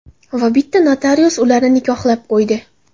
Va albatta notarius ularni nikohlab qo‘ydi.